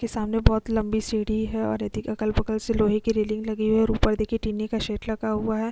के सामने बहुत लंबी सीढ़ी है और यदि अगल-बगल से लोहै की रेलिंग लगी हुई है और ऊपर देखिए टीने का शेड लगा हुआ है ।